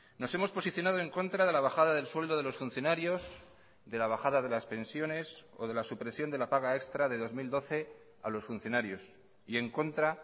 nos hemos posicionado en contra de la bajada del sueldo de los funcionarios de la bajada de las pensiones o de la supresión de la paga extra de dos mil doce a los funcionarios y en contra